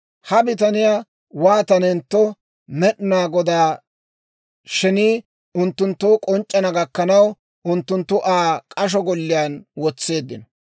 Ha bitaniyaa waatanentto Med'inaa Godaa shenii unttunttoo k'onc'c'ana gakkanaw, unttunttu Aa k'asho golliyaan wotseeddino.